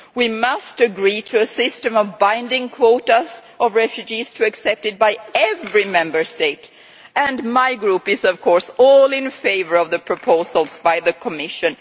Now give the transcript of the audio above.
We must agree to a system of binding quotas of refugees to be accepted by every Member State, and my Group is, of course, all in favour of the proposals by the Commission.